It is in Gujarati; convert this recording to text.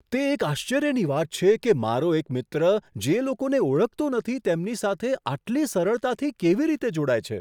તે એક આશ્ચર્યની વાત છે કે મારો એક મિત્ર જે લોકોને ઓળખતો નથી તેમની સાથે આટલી સરળતાથી કેવી રીતે જોડાય છે.